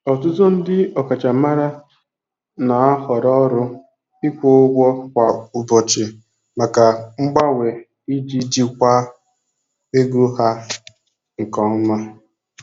Ọtụtụ ndị ọkachamara na-ahọrọ ọrụ ịkwụ ụgwọ kwa ụbọchị maka mgbanwe iji jikwaa ego ha nke ọma.